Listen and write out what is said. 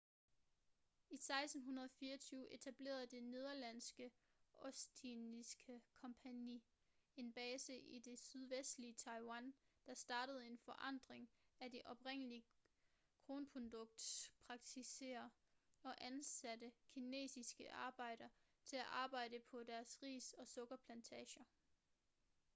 i 1624 etablerede det nederlandske ostindiske kompagni en base i det sydvestlige taiwan der startede en forandring af de oprindelige kornproduktionspraksisser og ansatte kinesiske arbejdere til at arbejde på deres ris- og sukkerplantager